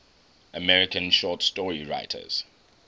american short story writers